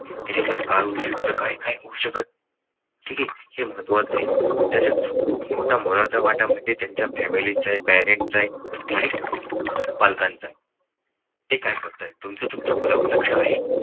ह्याच्यामुळे मग काय होऊ शकतो काय काय नाही येऊ शकत ठीक हे महत्त्वाचं आहे. तिच्यात खूप मोठा मोलाचा वाटा म्हणजे त्यांच्या family चा parents चा आहे आणि पालकांचा आहे हे काय करता तुमचं तुमच्या मुलावर लक्ष आहे.